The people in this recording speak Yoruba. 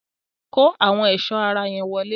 Kó àwọn ẹ̀sọ́ ara yẹn wọlé!